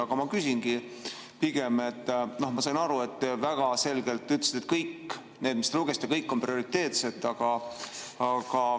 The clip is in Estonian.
Aga ma küsingi pigem, et ma sain aru, et te väga selgelt ütlesite, et kõik need, mis te ette lugesite, on prioriteetsed.